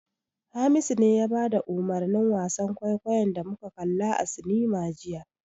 Hamisu ne ya bada umurnin wasan kwaikwayon da muka kalla a cinema jiya.